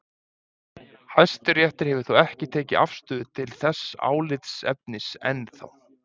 Hæstiréttur hefur þó ekki tekið afstöðu til þess álitaefnis enn þá.